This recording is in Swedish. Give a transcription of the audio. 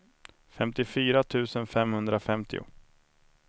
femtiofyra tusen femhundrafemtio